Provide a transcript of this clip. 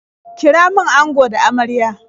Kira min ango da amarya.